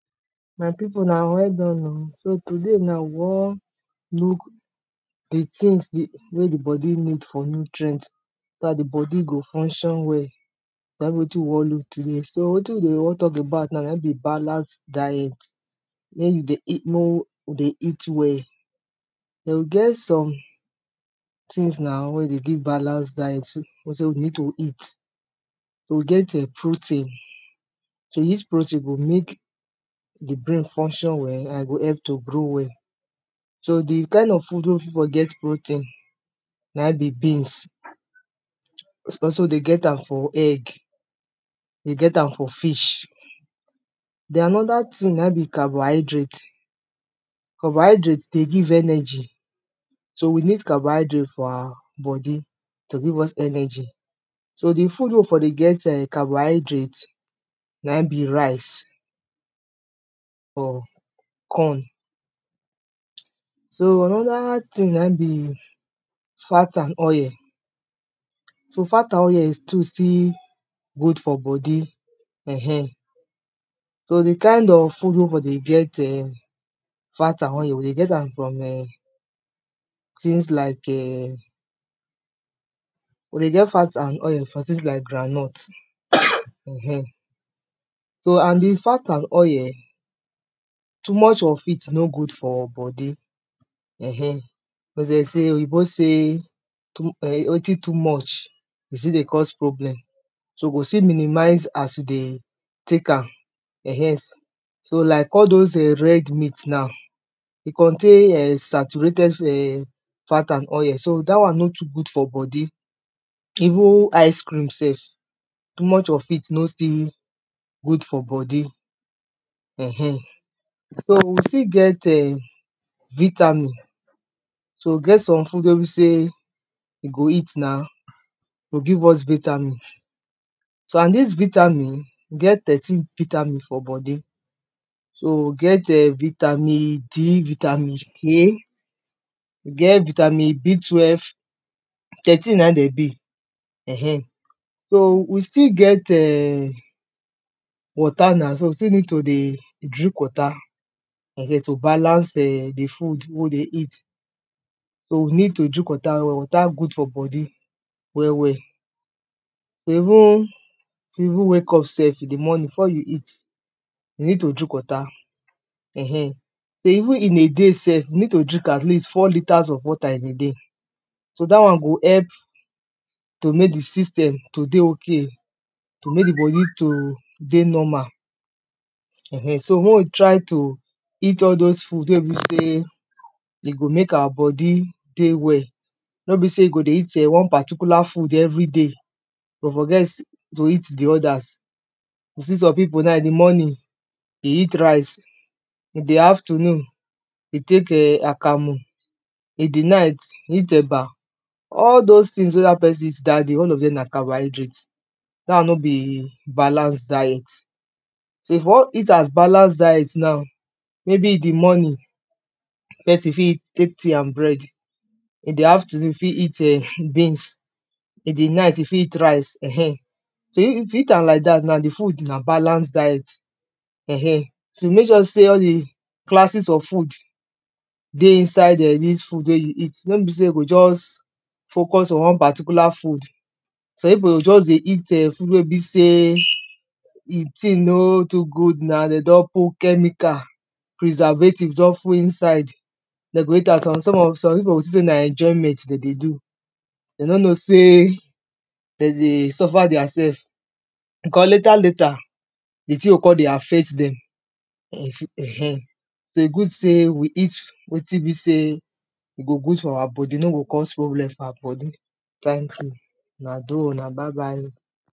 My people una well done o. So today na, we wan look the tins, wey the body need for nutrient, so that body go function well na e be wetin we wan look today. So wetin we dey wan talk about now naim be balance diet ma we dey eat, mo we dey eat well. Then e get some tins na wey e dey give balance diet we wey be sey we need to eat We get um protein. So this protein go make pause the brain function well and go help to grow well So the kain of food we fit for get protein, naim be beans We also dey get am for egg, dey get am for fish Then another tin na be carbohydrate, carbohydrate dey give energy So we need carbohydrate for our body to give us energy So the food wey we for dey get carbohydrate, na e be rice or corn. So another tin na e be fat and oil. So fat and oil too still good for body um For the kain of food wey for dey get eh fat and oil, we dey get from um tins like um. We dey get fat and oil for tins like groundnut um So and the fat and oil too much of it nor good for body um because sey oyibo sey too mu, wetin too much e still dey cause problem So we go still minimize as we dey take am um. So like all those red meat now E contain um saturated um fat and oil. So that one nor too good for body Even ice cream sef too much of it nor still pause good for body um. So we still get eh pause vitamin So we get some food wey be sey e go eat now e go give us vitamin So and this vitamin, e get thirteen vitamin for body. So e get um vitamin D, vitamin K We get vitamin B twelve. Thirteen na de be um So we still get um water na. So we still need to dey drink water um to balance um the food wey we dey eat. So we need to drink water well well. Water good for body well well, So even, to even wake sef in the morning before you eat, you need to drink water um. So even in a day sef you need to drink at least four litres of water in a day. So that one go help to make the system to dey okay pause to make the body to dey normal um so may we try to eat all those food wey be sey de go make our body dey well Nor be sey you go dey eat um one particular food everyday but forget to eat the others You see some people now in the morning e eat rice. In the afternoon e take um akamu. In the night e eat eba. All those tins wey that person eat that day, all of them na carbohydrate That one nor be balance diet. So if you wan eat as balance diet now maybe in the morning pesin fit take tea and bread. In the afternoon fit eat um beans In the night e fit eat rice um. So If e eat like that now, the food na balance diet um. So make sure sey all the classes of food dey inside um dis food wey you eat. Nor be sey go just focus on one particular food. Some people go just dey eat eh food wey be sey e tin nor too good now. De don too put chemical. Preservative don full inside De go eat am Som Some of, some people go think sey na enjoyment dem dey do. De nor know sey De dey suffer theirsef because later later the tin go come dey affect dem um e fi um. So e good sey we eat wetin be sey e go good for our body. E nor go cause problem for our body. Thank you. Una dooh. Una bye bye o